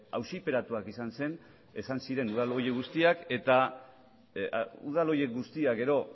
auziperatuak izan ziren udal horiek guztiak eta udal horiek guztiek gero